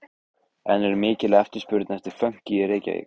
En er mikil eftirspurn eftir fönki í Reykjavík?